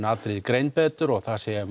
atriði greind betur og það sé